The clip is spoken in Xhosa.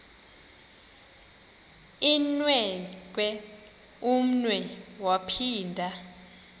inewenkwe umnwe yaphinda